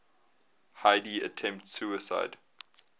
heidi attempts suicide